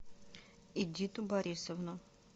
эдиту борисовну